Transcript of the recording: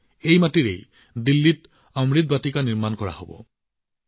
এই মাটিৰ পৰা অমৃত বাটিকা নিৰ্মাণ কৰা হব কেৱল দিল্লীত